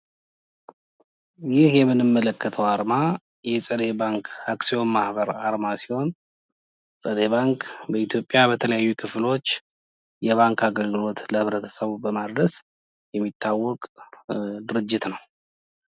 ይህ የምንመለከተው አርማ የጸደይ ባንክ አክሲዮን ማህበር አርማ ሲሆን ጸደይ ባንክ በኢትዮጵያ የተለያዩ ክፍሎች የባንክ አገልግሎት ለህብረተሰቡ በማድረስ የታወቀ ድርጅት ነው።